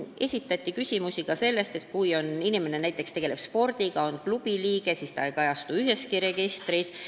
Esitati küsimusi ka selle kohta, et kui inimene tegeleb näiteks spordiga ja on klubi liige, siis ta ei kajastu üheski registris.